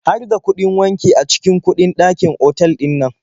Har da kuɗin wanki a cikin kuɗin dakin otal ɗinnan?